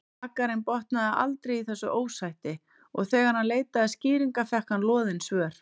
Bakarinn botnaði aldrei í þessu ósætti og þegar hann leitaði skýringa fékk hann loðin svör.